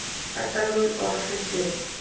Edda mín og allt þitt lið.